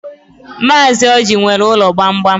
Mazi Ọji nwere ụlọ gbamgbam.